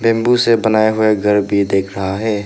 Bamboo से बनाए हुए घर भी दिख रहा है।